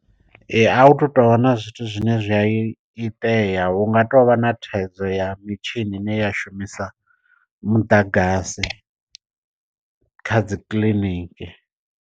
Ee a hu thu to vha na zwithu zwine zwi a i itea hu nga tou vha na thaidzo ya mitshini ine ya shumisa muḓagasi kha dzi kiḽiniki.